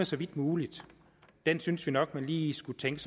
så vidt muligt synes vi nok man lige skulle tænke